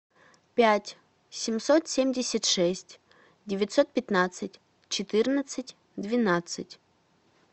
пять семьсот семьдесят шесть девятьсот пятнадцать четырнадцать двенадцать